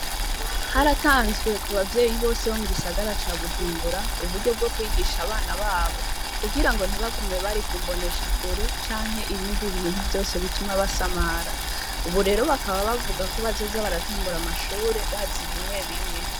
Haratanzwe ku bavyeyi bose bo mugisagara ca bujumbura, uburyo bwo kwihisha abana babo kugirango ntibagume bari ku mboneshakure ,canke ibindi ibintu vyose vyotuma basamara ,ubu rero bakaba bavuga ko bazoza baratangura amashure bazi bimwe bimwe.